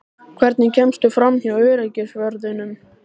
Hvernig kemstu framhjá öryggisvörðunum?